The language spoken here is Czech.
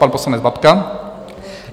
Pan poslanec Babka.